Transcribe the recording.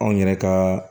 Anw yɛrɛ ka